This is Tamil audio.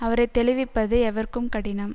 அவரை தெளிவிப்பது எவர்க்கும் கடினம்